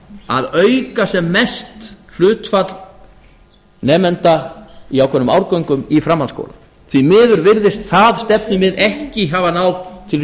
að auka sem mest hlutfall nemenda í ákveðnum árgöngum í framhaldsskólum því miður virðist það stefnumið ekki hafa náð til